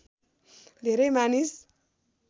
धेरै मानिस